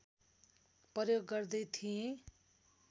प्रयोग गर्दै थिए